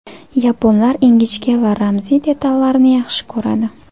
Yaponlar ingichka va ramziy detallarni yaxshi ko‘radi.